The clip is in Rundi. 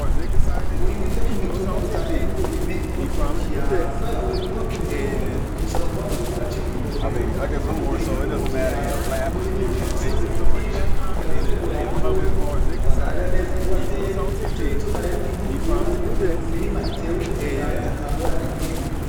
Uburimwi vyo ku mitumba butangiye n'uburimi bwo mu kiyaya, kubera uburimwi bwo ku mitumba bugusaba kuba muri kuraca imikobeko, ariko uburimwi bwo mu kiyaya ni uburimyi butagusaba ibintu vyinshi ukira gutegura ahantu uzorima ukabagarira neza ivyo wateye ni co gituma rero inkukura ku mirima itewe mu kiyaya atangorane n'imwe.